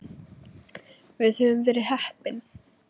Við höfum verið heppin.